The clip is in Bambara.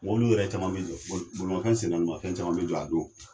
mɔbiliw yɛrɛ caman be jɔ bo bolimafɛn sen naani mafɛn caman be jɔ a don